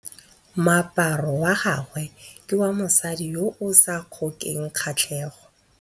Moaparô wa gagwe ke wa mosadi yo o sa ngôkeng kgatlhegô.